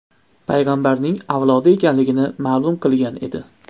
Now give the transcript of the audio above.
payg‘ambarning avlodi ekanligini ma’lum qilgan edi .